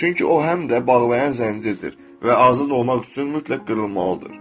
Çünki o, həm də bağlayan zəncirdir və azad olmaq üçün mütləq qırılmalıdır.